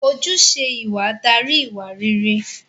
Ojúṣe ìwà darí ìwà réré